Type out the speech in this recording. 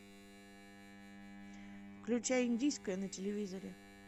включай индийское на телевизоре